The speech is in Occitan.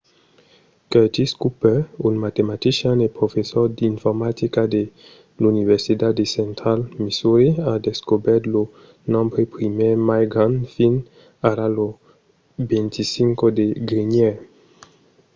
curtis cooper un matematician e professor d'informatica de l'universitat de central missouri a descobèrt lo nombre primièr mai grand fins ara lo 25 de genièr